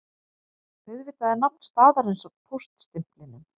Auðvitað er nafn staðarins á póststimplinum